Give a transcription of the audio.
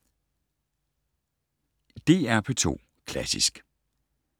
DR P2 Klassisk